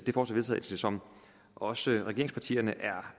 vedtagelse som også regeringspartierne